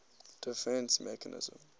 defence mechanism